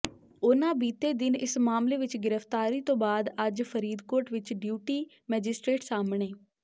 ਉਨ੍ਹਾਂ ਬੀਤੇ ਦਿਨ ਇਸ ਮਾਮਲੇ ਵਿੱਚ ਗ੍ਰਿਫ਼ਤਾਰੀ ਤੋਂ ਬਆਦ ਅੱਜ ਫਰੀਦਕੋਟ ਵਿੱਚ ਡਿਊਟੀ ਮੈਜਿਸਟ੍ਰੇਟ ਸਾਹਮਣੇ